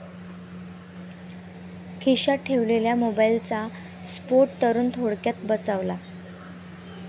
खिश्यात ठेवलेल्या मोबाईलचा स्फोट, तरुण थोडक्यात बचावला